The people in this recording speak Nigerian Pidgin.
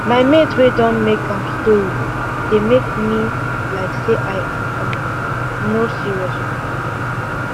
my mate way don make am story dey make me like say i um no serious with my life